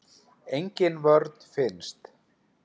Engin vörn finnst.